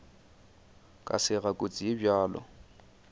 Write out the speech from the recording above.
ka sega kotsi ye bjalo